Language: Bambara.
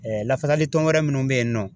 lafasali tɔn wɛrɛ minnu bɛ yen nɔ